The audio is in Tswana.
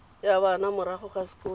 ya bana morago ga sekolo